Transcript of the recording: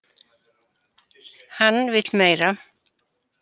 Hann vill meira!